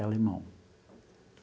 E alemão.